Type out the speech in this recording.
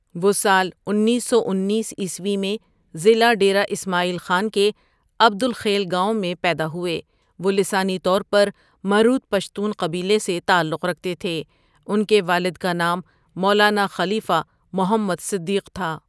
وہ سال انیسو انیس ء میں ضلع ڈیرہ اسماعیل خان کے عبد الخیل گاوؑں میں پیدا ہوئے وہ لسانی طور پر مروت پشتون قبیلے سے تعلق رکھتے تھے ان کے والد کا نام مولانا خلیفہ محمد صدیقؒ تھا.